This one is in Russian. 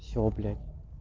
всё блять